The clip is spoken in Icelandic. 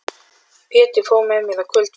Pétur fór með mér á kvöldfundinn.